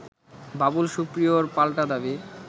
বাবুল সুপ্রিয়র পাল্টা দাবি